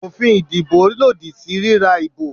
Òfin ìdìbò lòdì sí ríra ìbò